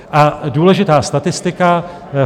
A důležitá statistika.